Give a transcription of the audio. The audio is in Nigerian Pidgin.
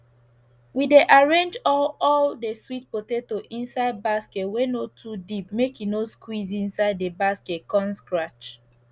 we dey arrange all all de sweet potato inside basket wey no too deep make e no squeeze inside the basket con scratch